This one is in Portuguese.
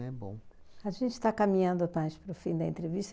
Não é bom. A gente está caminhando mais para o fim da entrevista.